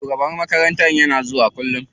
Shugaban makarantar kullum yana zuwa makarantar.